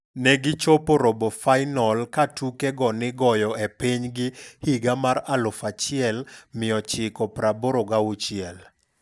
negi chopo robofainol katuke go nigoyo e pinygi higa mar 1986.